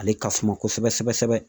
Ale ka suma kosɛbɛ sɛbɛ sɛbɛ sɛbɛ.